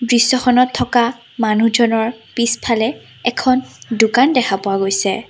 দৃশ্যখনত থকা মানুহজনৰ পিছফালে এখন দোকান দেখা পোৱা গৈছে।